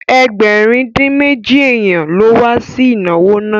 Ẹgbẹ̀rin-dín-méjì èèyàn ló ma wá sí ìnáwó náà